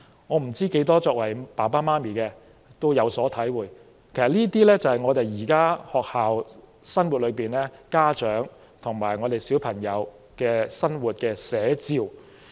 我不知道有多少父母親會有所體會，但這些都是我們現時的學校生活、家長和小朋友的生活寫照。